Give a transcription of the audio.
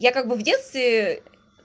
я как бы в детстве